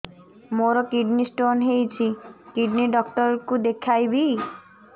ମୋର kidney stone ହେଇଛି kidney doctor କୁ ଦେଖାଇବି